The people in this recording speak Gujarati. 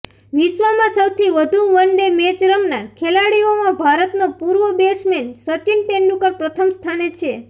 વિશ્વમાં સૌથી વધુ વનડે મેચ રમનાર ખેલાડીઓમાં ભારતનો પૂર્વ બેટ્સમેન સચિન તેંડુલકર પ્રથમ સ્થાને છે